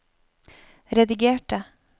redigerte